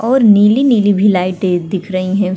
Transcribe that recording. और नीली - नीली भी लाइटें भी दिख रही हैं।